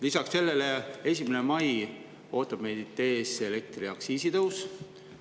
Lisaks sellele ootab meid 1. mail ees elektriaktsiisi tõus.